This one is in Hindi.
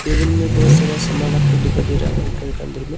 टेबुल में बहुत सारा सामान रखा दिखाई दे रहा हैं घर का अन्दर में।